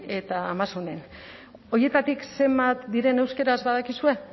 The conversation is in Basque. eta amazonen horietatik zenbat diren euskaraz badakizue